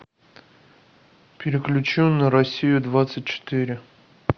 переключи на россию двадцать четыре